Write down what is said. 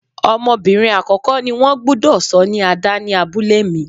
Ọmọbìnrin àkọ́kọ́ ni wón gbúdọ̀ sọ ní Ada ni abúlé mi.